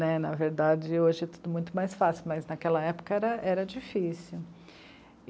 Na verdade, hoje é tudo muito mais fácil, mas naquela época era, era difícil.